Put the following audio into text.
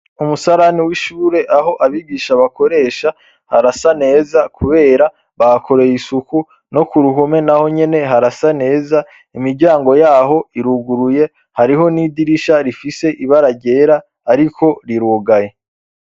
umusarani w'ishure aho abigisha bakoresha harasa neza kubera bahakoreye isuku. No ku ruhume naho nyene harasa neza. Imiryango yaho iruguruye hariho n'idirisha rifise ibara ryera ariko rirugaye.